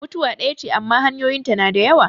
Mutuwa ɗaya ce amma hanyoyin ta na da yawa.